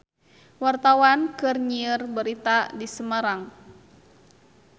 Wartawan keur nyiar berita di Semarang